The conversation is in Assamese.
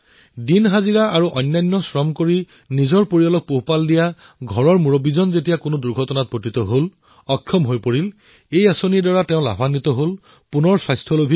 ঘৰৰ মুৰব্বীয়ে পৰিশ্ৰম কৰি নিজৰ পৰিয়াল চলোৱা মানুহজন দূৰ্ঘটনাগ্ৰস্ত হল কামলৈ যাব পৰা নাছিল এই যোজনাৰ দ্বাৰা তেওঁ উপকৃত হল আৰু পুনৰ সুস্থ হৈ উঠিল